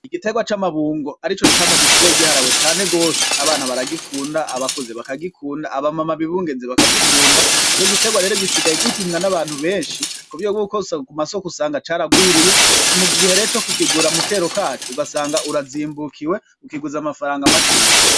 Igitegwa c'amabungo arico camwa gisigaye giharawe cane gose abana baragikunda, abakuze bakagikunda ,aba mama bibungenze bakagikunda ico gitegwa rero gisigaye kirimwa n'abantu benshi kuburyo ku masoko usanga caragwiriye mugihe rero cokukigura mu kero kaco usanga urazimbukiwe ukiguze amafaranga makeya.